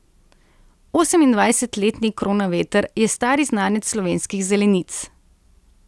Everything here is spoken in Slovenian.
Osemindvajsetletni Kronaveter je stari znanec slovenskih zelenic.